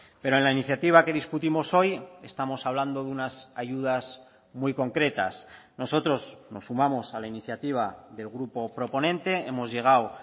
pero en la iniciativa que discutimos hoy estamos hablando de unas ayudas muy concretas nosotros nos sumamos a la iniciativa del grupo proponente hemos llegado